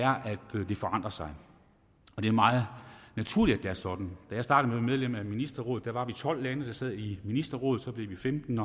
det forandrer sig det er meget naturligt er sådan da jeg startede medlem af ministerrådet var vi tolv lande der sad i ministerrådet så blev vi femten